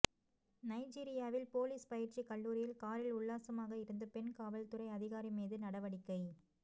நைஜீரியாவில் போலீஸ் பயிற்சி கல்லூரியில் காரில் உல்லாசமாக இருந்த பெண் காவல்துறை அதிகாரி மீது நடவடிக்கை